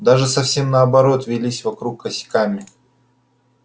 даже совсем наоборот вились вокруг косяками